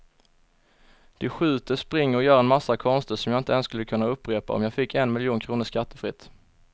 De skjuter, springer och gör en massa konster som jag inte ens skulle kunna upprepa om jag fick en miljon kronor skattefritt.